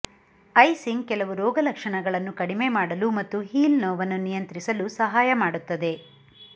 icing ಕೆಲವು ರೋಗಲಕ್ಷಣಗಳನ್ನು ಕಡಿಮೆ ಮಾಡಲು ಮತ್ತು ಹೀಲ್ ನೋವನ್ನು ನಿಯಂತ್ರಿಸಲು ಸಹಾಯ ಮಾಡುತ್ತದೆ